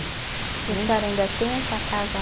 E a senhora ainda tem essa casa